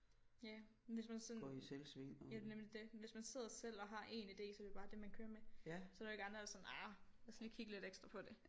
Ja hvis man sådan ja det er nemlig det hvis man sidder selv og har én ide så er det jo det man kører med så er der jo ikke andre der sådan ah lad os lige kigge lidt ekstra på det